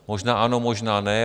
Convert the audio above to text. Možná ano, možná ne.